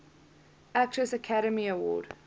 actress academy award